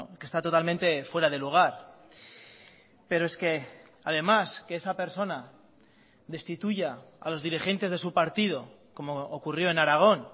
que está totalmente fuera de lugar pero es que además que esa persona destituya a los dirigentes de su partido como ocurrió en aragón